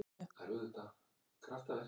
Það skapi erfiða stöðu.